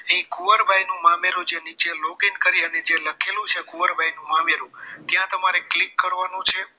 કુંવરબાઈનું મામેરુ જે નીચે logging કરી જે લખેલું છે કુવરબાઈનું મામેરુ ત્યાં તમારે click કરવાનું છે